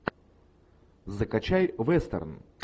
закачай вестерн